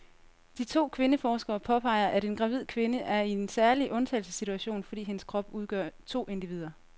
De to kvindeforskere påpeger, at en gravid kvinde er i en særlig undtagelsessituation, fordi hendes krop udgør to individer.